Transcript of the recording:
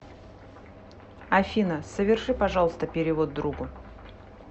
афина соверши пожалуйста перевод другу